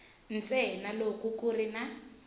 ntsena loko ku ri na